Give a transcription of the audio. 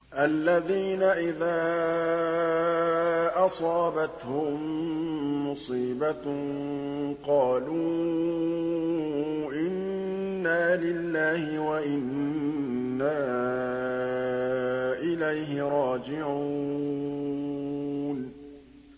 الَّذِينَ إِذَا أَصَابَتْهُم مُّصِيبَةٌ قَالُوا إِنَّا لِلَّهِ وَإِنَّا إِلَيْهِ رَاجِعُونَ